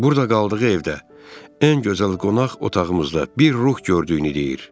Burda qaldığı evdə ən gözəl qonaq otağımızda bir ruh gördüyünü deyir.